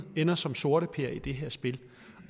ender som sorteper i det her spil